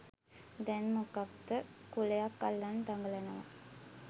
දෑන් මොකක්ද කුලයක් අල්ලන් දගලනවා.